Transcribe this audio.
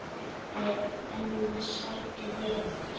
Ella sætu þeir eftir.